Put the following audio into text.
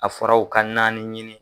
A fɔra'o ka naani ɲini.